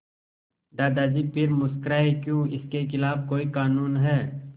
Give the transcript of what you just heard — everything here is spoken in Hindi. दादाजी फिर मुस्कराए क्यों इसके खिलाफ़ कोई कानून है